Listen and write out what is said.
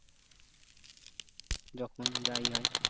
যখন যা ই হয়